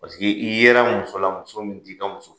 Paseke i ye la mso la muso min t'i ka muso ye!